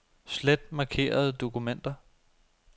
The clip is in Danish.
Slet markerede dokumenter.